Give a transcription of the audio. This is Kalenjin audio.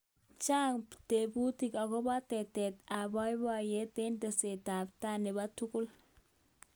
chang tebutik akobo tetet ab boiboyot eng teset ab tai nebo tugul